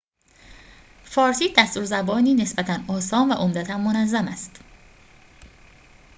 فارسی دستور زبانی نسبتاً آسان و عمدتاً منظم دارد